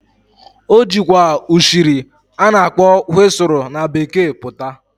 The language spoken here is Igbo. O jịkwa ụshụrị a na-akpo wịsụrụ na Bekee pụta.